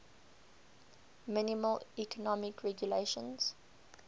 minimal economic regulations